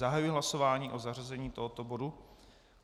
Zahajuji hlasování o zařazení tohoto bodu.